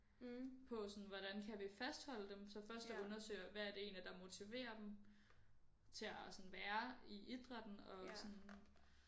På sådan hvordan kan vi fastholde dem så først der undersøger hvad er det egentlig der motiverer dem til at sådan være i idrætten og sådan